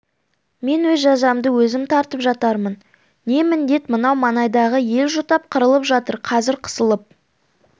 мен өз жазамды өзім тартып жатармын не міндет мынау маңайдағы ел жұтап қырылып жатыр қазір қысылып